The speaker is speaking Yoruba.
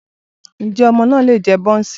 Ǹjẹ́ ọmọ náà lè jẹ bọ́ọ̀ǹsì?